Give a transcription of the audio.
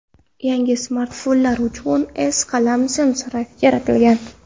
Yangi smartfonlar uchun S qalam sensori yaratilgan.